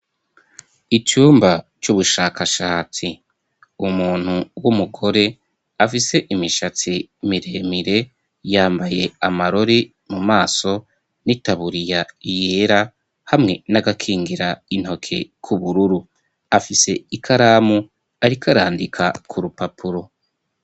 Icumba c'ubushakashatsi, umuntu w'umugore afise imishatsi miremire, yambaye amarori mu maso ,n'itaburiya yera hamwe n'agakingira intoke k'ubururu, afise ikaramu arik'arandika ku rupapuro.